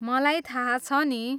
मलाई थाहा छ नि!